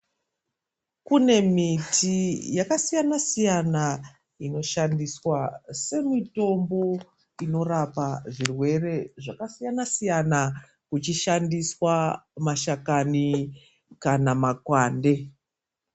Kune miti yakasiyana siyana inoshandiswa semutombo unorapa zvirwere zvakasiyana siyana uchishandiswa mashakani kana makwande.